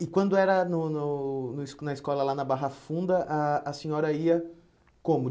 E quando era no no no es na escola, lá na Barra Funda, a a senhora ia como?